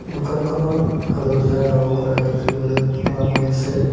দোকানখনত হালধীয়া ৰং কৰা দেখিবলৈ পোৱা গৈছে।